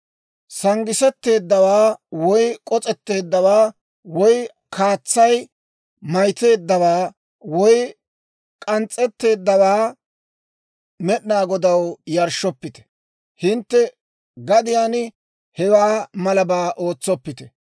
Sanggisetteeddawaa woy k'os'etteeddawaa woy kaatsay maytteeddawaa woy k'ans's'etteeddawaa Med'inaa Godaw yarshshoppite. Hintte gadiyaan hewaa malabaa ootsoppite.